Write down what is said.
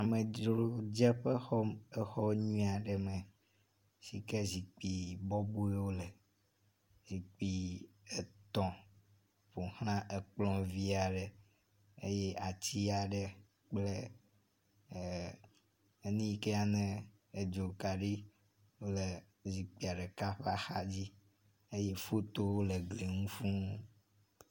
amedzro dzeƒe xɔ exɔ nyuiaɖe me sike zikpi bɔboewo le zikpi etɔ̃ ƒoxlã ekplɔ̃ yi aɖe eye atiaɖe kple e enuyike ane dzokaɖi le zikpia ɖeka ƒa xadzi eye fotowo le gliaŋu fuu